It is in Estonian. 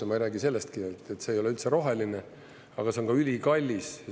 Ja ma ei räägi sellestki, et see ei ole üldse roheline, aga see on ka ülikallis.